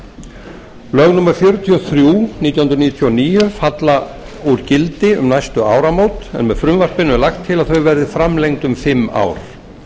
lög númer fjörutíu og þrjú nítján hundruð níutíu og níu falla úr gildi um næstu áramót en með frumvarpinu er lagt til að þau verði framlengd um fimm ár